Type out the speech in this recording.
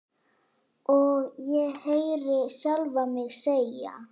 Og ég heyri sjálfa mig segja